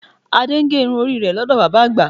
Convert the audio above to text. Adé ń gé irun orí rẹ̀ lọ́dọ̀ bàbá àgbà